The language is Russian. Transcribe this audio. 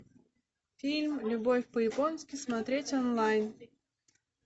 фильм любовь по японски смотреть онлайн